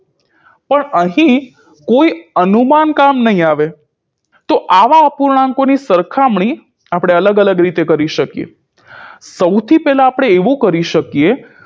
પણ અહીં કોઈ અનુમાન કામ નહી આવે તો આવા અપૂર્ણાંકોની સરખામણી આપણે અલગ અલગ રીતે કરી શકીએ સૌથી પેલા આપણે એવું કરી શકીએ